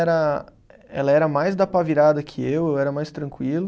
Era, ela era mais da pá virada que eu, eu era mais tranquilo.